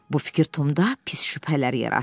Bu fikir Tomda pis şübhələr yaratdı.